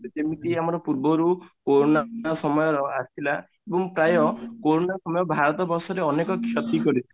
ଯେମିତି ଆମର ପୂର୍ବରୁ କୋରୋନା ନା ସମୟ ର ଆସିଥିଲା ପ୍ରାୟ କୋରୋନା ସମୟ ଭାରତ ବର୍ଷରେ ଅନେକ କ୍ଷତି କରିଥିଲା